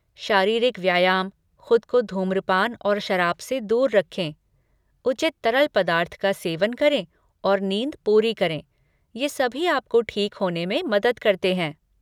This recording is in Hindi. शारीरिक व्यायाम, खुद को धूम्रपान और शराब से दूर रखें, उचित तरल पदार्थ का सेवन करें और नींद पूरी करें, ये सभी आपको ठीक होने में मदद करते हैं।